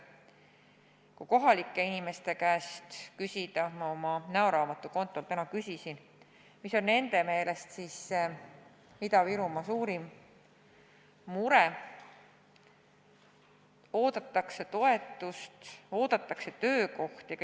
Kui kohalike inimeste käest küsida – ma oma näoraamatu kontol täna küsisin –, mis on nende meelest Ida-Virumaa suurim mure, siis öeldakse, et oodatakse toetust, oodatakse töökohti.